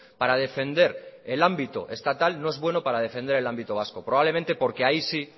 para defender el ámbito estatal no es bueno para defender el ámbito vasco probablemente porque ahí sí